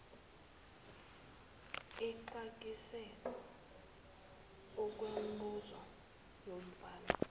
exakise okwemibuzo yomfana